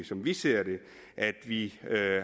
som vi ser det at vi